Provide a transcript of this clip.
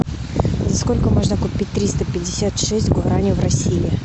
за сколько можно купить триста пятьдесят шесть гуарани в россии